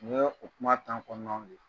O ye kumaru tamaɲƆn ye